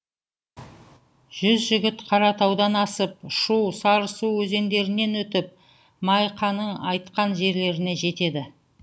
жүз жігіт қаратаудан асып шу сарысу өзендерінен өтіп майқының айтқан жерлеріне жетеді